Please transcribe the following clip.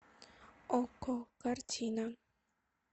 окко картина